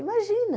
Imagina!